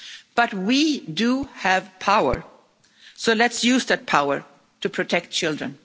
But we do have power, so let's use that power to protect children.